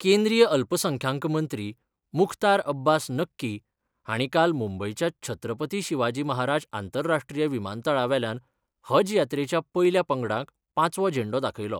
केंद्रीय अल्पसंख्यांक मंत्री मुख्तार अब्बास नक्की हांणी काल मुंबयच्या छत्रपती शिवाजी महाराज आंतराष्ट्रीय विमानतळावेल्यान हज यात्रेच्या पयल्या पंगडाक पांचवो झेंडो दाखयलो.